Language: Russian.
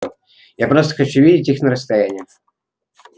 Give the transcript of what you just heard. я просто хочу видеть их на расстоянии